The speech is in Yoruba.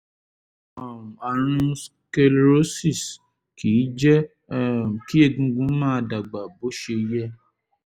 um ààrùn sclerosis kìí jẹ́ um kí egungun máa dàgbà bó ṣe yẹ